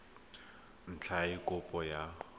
ntlha ya eng kopo ya